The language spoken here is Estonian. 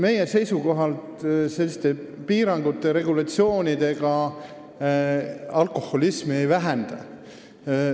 Meie seisukoht on, et piirangute ja regulatsioonidega alkoholismi ei vähenda.